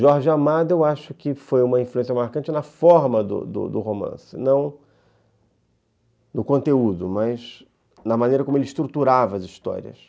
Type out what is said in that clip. Jorge Amado, eu acho que foi uma influência marcante na forma do do do romance, não no conteúdo, mas na maneira como ele estruturava as histórias.